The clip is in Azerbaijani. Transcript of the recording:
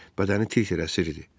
Bədəni tir-tir əsiridi.